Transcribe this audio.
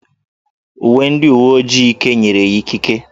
Uwe ndị uwe ojii Ike nyere ya ikike.